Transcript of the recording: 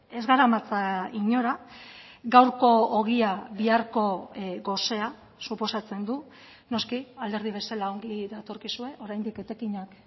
ez garamatza inora gaurko ogia biharko gosea suposatzen du noski alderdi bezala ongi datorkizue oraindik etekinak